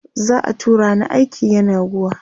za'a tura ni aiki yenagoa